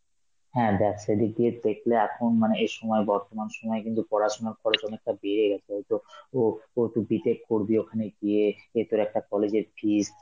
হ্যাঁ দেখ সে দিক দিয়ে দেখলে এখন মানে এই সময়, বর্তমান সময় কিন্তু পড়াশোনার খরচ অনেকটা বেড়ে গেছে হয়তো, ও~ ও তুই B.tech করবি ওখানে গিয়ে, এ তোর একটা college এর fees,